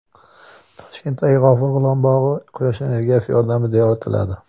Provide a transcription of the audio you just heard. Toshkentdagi G‘afur G‘ulom bog‘i Quyosh energiyasi yordamida yoritiladi.